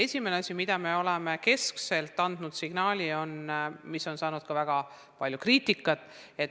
Esimene asi, mille koha me oleme keskselt andnud signaali ja mis on saanud ka väga palju kriitikat, on hindamine.